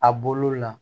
A bolo la